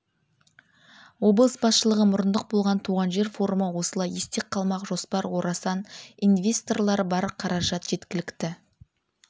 облыс басшылығы мұрындық болған туған жер форумы осылай есте қалмақ жоспар орасан инвесторлар бар қаражат жеткілікті